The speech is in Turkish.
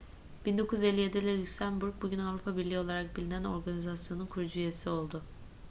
1957'de lüksemburg bugün avrupa birliği olarak bilinen organizasyonun kurucu üyesi oldu